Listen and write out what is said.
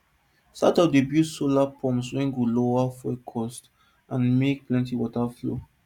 startup dey build solar pumps wey go lower fuel cost and make plenty water flow